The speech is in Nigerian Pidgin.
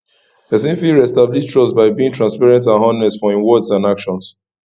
pesin fit reestablish trust by being transparent and honest for im words and actons